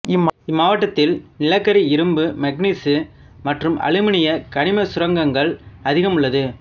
இம்மாவட்டத்தில் நிலக்கரி இரும்பு மங்கனீசு மற்றும் அலுமினிய கனிம சுரங்கள் அதிகம் உள்ளது